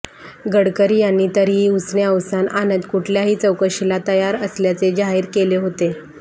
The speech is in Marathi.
गडकरी यांनी तरीही उसने अवसान आणत कुठल्याही चौकशीला तयार असल्याचे जाहीर केले होते